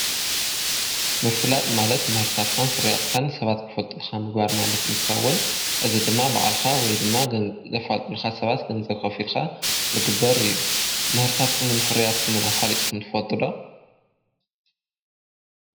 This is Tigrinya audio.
ምፍላጥ ማለት መህርታትካን ፍርያትካን ሰባት ክፈልጥልካ ምግባር ማለት እንትኸውን እዝ ድማ በዕልኻ ወይ ድማ ገንዘፋልጡልካ ሰባት ገንዘ ኸፊልካ ልግበር እዩ. ምህርታትኩምንፍርያትኩምን ኣፋሊጥኩም ትፈልጥዶ?